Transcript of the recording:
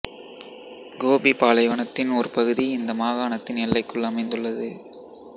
கோபி பாலைவனத்தின் ஒரு பகுதி இந்த மாகாணத்தின் எல்லைக்குள் அமைந்துள்ளது